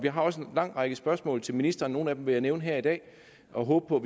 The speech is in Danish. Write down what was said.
har også en lang række spørgsmål til ministeren nogle af dem vil jeg nævne her i dag og håbe på